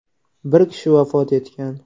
Bir kishi vafot etgan.